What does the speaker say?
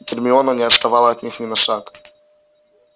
гермиона не отставала от них ни на шаг